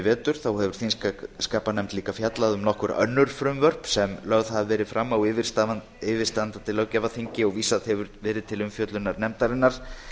vetur hefur þingskapanefnd líka fjallað um nokkur önnur frumvörp sem lögð hafa verið fram á yfirstandandi löggjafarþingi og vísað hefur verið til umfjöllunar nefndarinnar